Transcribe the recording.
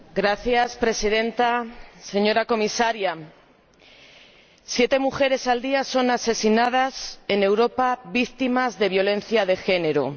Señora Presidenta, señora Comisaria, siete mujeres al día son asesinadas en Europa, víctimas de violencia de género.